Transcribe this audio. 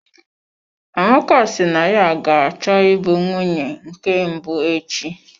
Amaka si na ya ga-achọ ịbụ nwunye nke mbụ echi.